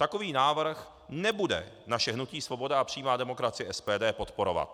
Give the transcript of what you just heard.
Takový návrh nebude naše hnutí Svoboda a přímá demokracie - SPD podporovat.